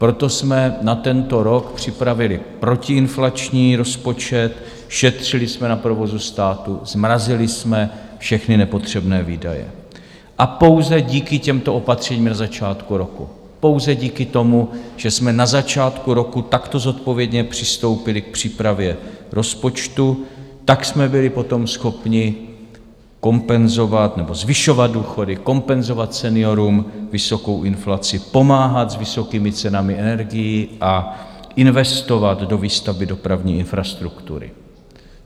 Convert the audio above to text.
Proto jsme na tento rok připravili protiinflační rozpočet, šetřili jsme na provozu státu, zmrazili jsme všechny nepotřebné výdaje a pouze díky těmto opatřením na začátku roku, pouze díky tomu, že jsme na začátku roku takto zodpovědně přistoupili k přípravě rozpočtu, tak jsme byli potom schopni kompenzovat nebo zvyšovat důchody, kompenzovat seniorům vysokou inflaci, pomáhat s vysokými cenami energií a investovat do výstavby dopravní infrastruktury.